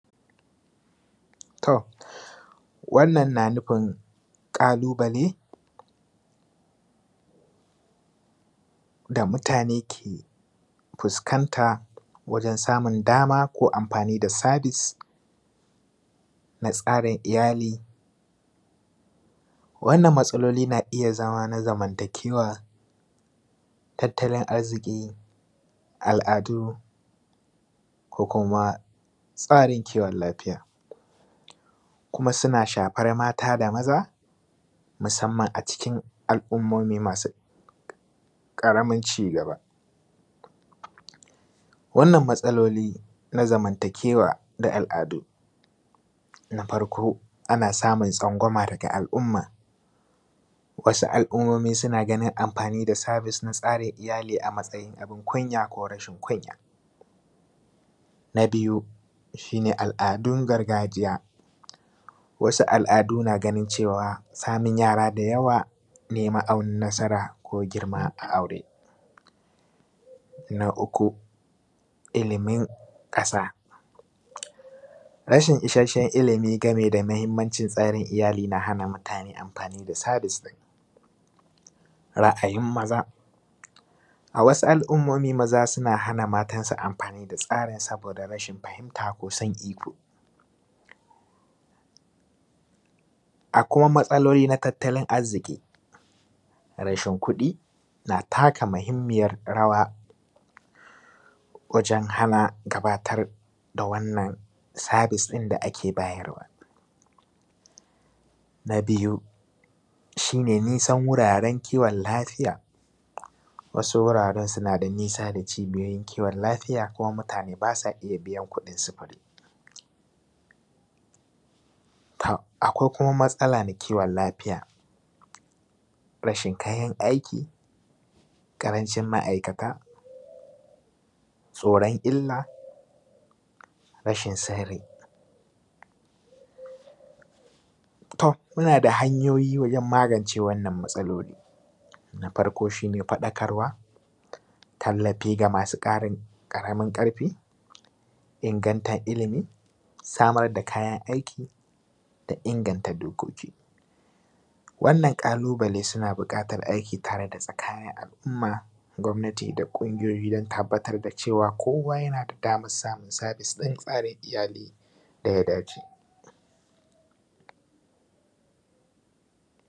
To wannan na nufin ƙalubale da mutane ke fuskanta wajen samun dama ko amfani da sabis na tsarin iyali, wannan matsaloli na iya zama na zamantakewa, tattalin arziki, al’adu ko kuma tsarin kiwon lafiya kuma suna shafar mata da maza musamman a cikin al’ummmomi masu ƙaramin cigaba. Wannan matsaloli na zamantakewa da al’adu na farko ana samun tsangwama daga al’umma, wasu al’ummomi suna ganin amfani da sabis na tsarin iyali a matsayin abun kunya ko rashin kunya, na biyu shi ne al’adun gargajiya, wasu al’Adu na ganin cewa samun yara da yawa neman nasara ko girma a aure, na uku ilimin ƙasa rashin isashshen ilimi game da mahimmancin tsarin iyali yana hana mutane amfani da sabis, ra’ayin maza a wasu al’ummomi maza suna hana matansu amfani da tsarin saboda rashin fahimta ko san iko. A kuma matsaloli na tattalin arziki, rashin kuɗi na taka mahimmiyar rawa wajen hana gabatar da wannan sabis ɗin da ake bayarwa, na biyu shi ne nisan wuraren kiwon lafiya wasu wuraren suna da nisa da cibiyar kiwon lafiya kuma mutane ba sa iya biyan kuɗin sufuri, tom akwai kuma matsala na kiwon lafiya, rashin kayan aiki ƙarancin ma’aikata, tsoran illa, rashin sani. To, muna da hanyoyi wajen magance wannan matsaloli na farko shi ne faɗakarwa, tallafi ga masu ƙaramin ƙarfi ingantan ilimi, samar da kayan aiki da inganta dokoki wannan ƙalubale suna buƙatan aiki tare da tsakayen al’umma, gwamnati da ƙungiyoyi dan tabbatar da cewa kowa yana da damar samun sabis ɗin tsarin iyali da ya dace.